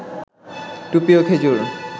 টুপি, ও খেজুর